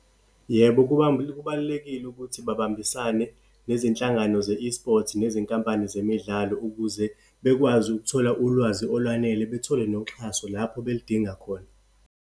Yebo, kubalulekile ukuthi babambisane nezinhlangano ze-esports, nezinkampani zemidlalo ukuze bekwazi ukuthola ulwazi olwanele, bethole noxhaso lapho belidinga khona.